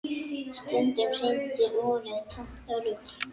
Stundum sýndi úrið tómt rugl.